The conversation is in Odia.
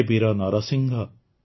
ହେ ବୀର ନରସିଂହ